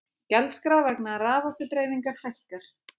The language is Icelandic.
Gjaldskrá vegna raforkudreifingar hækkar